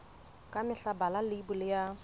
ka mehla bala leibole ya